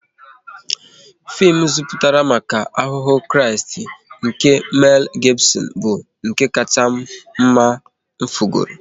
Fim nziputa maka Ahụhụ Kraịst nke Mel Gibson bụ nke kacha mma m fugoro